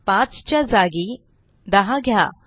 5 च्या जागी 10 घ्या